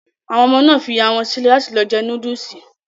Àwọn ọmọ náà fi ìyá wọn sílẹ̀ láti lọ jẹ núdùsì